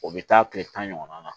O bɛ taa tile tan ɲɔgɔn na